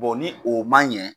ni o man n ɲɛ